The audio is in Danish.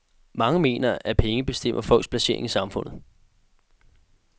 Mange mener, at penge bestemmer folks placering i samfundet.